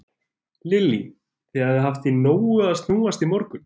Lillý: Þið hafið haft í nógu að snúast í morgun?